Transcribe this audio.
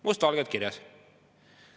Must valgel kirjas.